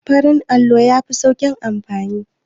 Farin allo yafi sauƙin amfani